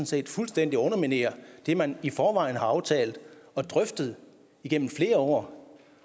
set fuldstændig underminerer det man i forvejen har aftalt og drøftet igennem flere år